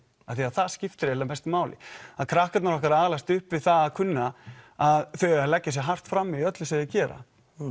af því að það skiptir eiginlega mestu máli að krakkarnir okkar alast upp við það að kunna að þau eiga að leggja sig hart fram í öllu sem þau gera